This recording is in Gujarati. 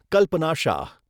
કલ્પના શાહ